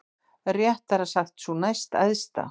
Réttara sagt sú næstæðsta.